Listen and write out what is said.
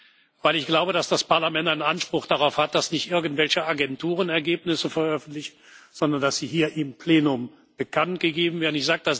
Denn ich glaube, dass das Parlament einen Anspruch darauf hat, dass nicht irgendwelche Agenturen Ergebnisse veröffentlichen, sondern dass sie hier im Plenum bekanntgegeben werden.